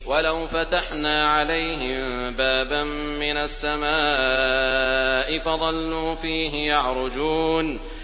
وَلَوْ فَتَحْنَا عَلَيْهِم بَابًا مِّنَ السَّمَاءِ فَظَلُّوا فِيهِ يَعْرُجُونَ